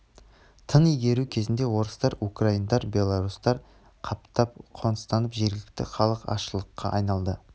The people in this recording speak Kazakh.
тың игеру кезінде орыстар украиндар беларустар қаптап қоныстанып жергілікті халық азшылыққа айналды